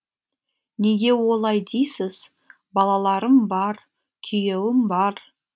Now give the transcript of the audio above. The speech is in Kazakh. неге олай дейсіз балаларым бар күйеуім бар